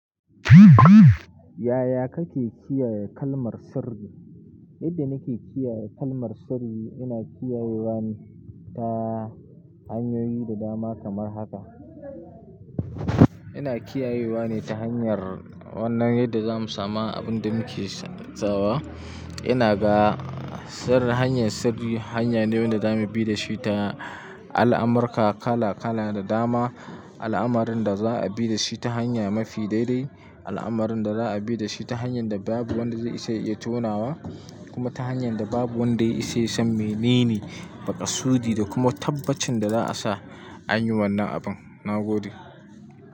Yaya kake kiyaye kalmar sirri? Yadda nake kiyaye kalmar sirri, ina kiyayewa ne ta hanyoyi da dama kamar haka. Ina kiyayewa ne ta hanyar wannan yadda zamu samu abin da muke sawa. Ina ga sirri, hanya sirri, hanya ne wanda za mu bi da shi ta al'amurka kala kala da dama. Al'amarin da za a bi da shi ta hanya mafi dai-dai, al'amarin da za a bi da shi ta hanyan da babu wanda zai isa ya iya tonawa, kuma ta hanyan da babu wanda ya isa ya san menene makasudi da kuma tabbacin da za a sa an yi wannan abin. Na gode.